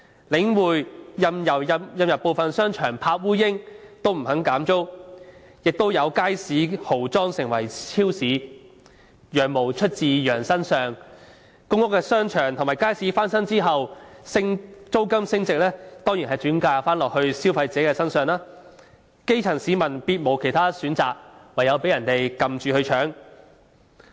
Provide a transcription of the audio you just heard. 領匯任由部分商場鋪位空置也不肯減租，也有街市豪裝成為超市；"羊毛出自羊身上"，公屋商場和街市翻新後，租金升幅當然是轉嫁消費者身上，基層市民別無選擇，唯有被強搶。